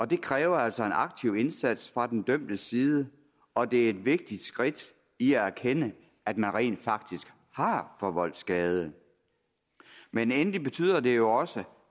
det kræver altså en aktiv indsats fra den dømtes side og det er et vigtigt skridt i at erkende at man rent faktisk har forvoldt skade men endelig betyder det jo også